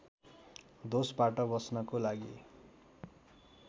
दोषबाट बच्नको लागि